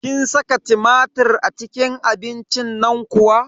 Kin saka tumatir a cikin abincin nan kuwa?